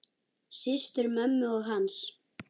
Systur mömmu og hans.